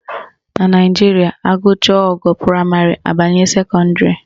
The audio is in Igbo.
Na Naijiria, agụcha ogo praịmarị abanye sekọndịrị